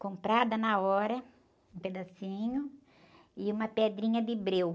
Comprada na hora, um pedacinho, e uma pedrinha de breu.